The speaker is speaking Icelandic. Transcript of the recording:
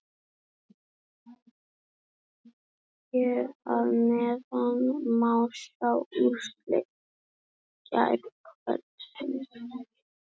Hér að neðan má sjá úrslit gærkvöldsins.